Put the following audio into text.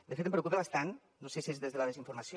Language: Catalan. de fet em preocupa bastant no sé si és des de la desinformació